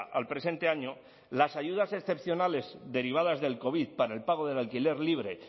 al presente año las ayudas excepcionales derivadas del covid para el pago del alquiler libre